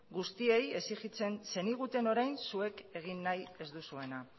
guztiei exigitzen zeniguten orain zuek egin nahi ez duzuena